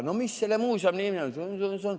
No mis selle muuseumi nimi on?